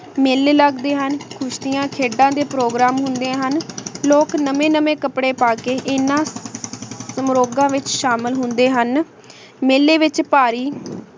ਮੀਲੀ ਲਗਦੇ ਹਨ ਦੋਸ੍ਰਿਯਾਂ ਖੇਡਾਂ ਦੇ program ਹੁੰਦੇ ਹਨ ਲੋਕ ਨਵੇ ਨਵੇ ਕਪਰੇ ਪਾ ਕੇ ਇਨਾਂ ਸੰਰੋਗਾਂ ਵਿਚ ਸ਼ਾਮਿਲ ਹੁੰਦੇ ਹਨ ਮੀਲੀ ਵਿਚ ਭਾਰੀ